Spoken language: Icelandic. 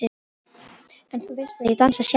En þú veist að ég dansa sjaldan.